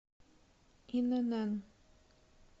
инн